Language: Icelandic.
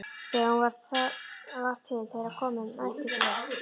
Þegar hún var til þeirra komin mælti Björn: